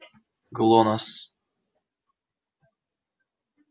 глонассс